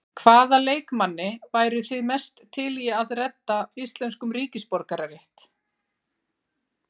Hvaða leikmanni væru þið mest til að redda íslenskum ríkisborgararétt?